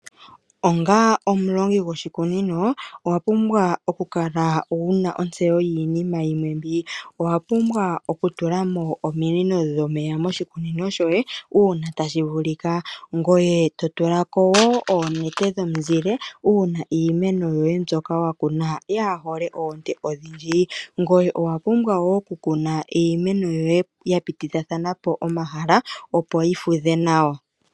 Onga omulongi gwoshikunino owapumbwa okukala wuna ontseyo yiinima yimwe mbi. Owapumbwa okutulamo ominino dhomeya moshikunino shoye uuna tashi vulika. Ngoye totula ko woo oonete dhomuzile uuna iimeno yoye mbyoka wakuna yaahole oonte odhindji. Ngoye owapumbwa woo okukuna iimeno yoye ya pitithapo omahala opo yi fudhe nawa.